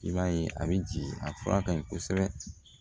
I b'a ye a bɛ jigin a fura ka ɲi kosɛbɛ